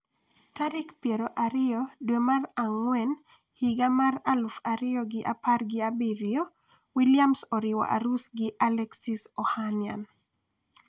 tarik piero ariyo dwe mar ang'wen higa mar aluf ariyo gi apar gi abiriyo Williams oriwo arus gi Alexis Ohanian